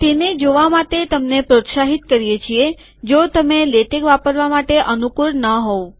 તેને જોવા તમને પ્રોત્સાહિત કરીએ છીએ જો તમે લેટેક વાપરવામાં અનુકુળ ન હોવ